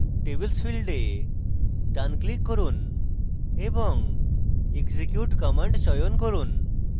tables folder ডান click করুন এবং execute command চয়ন করুন